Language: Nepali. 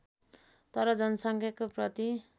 तर जनसङ्ख्याको प्रति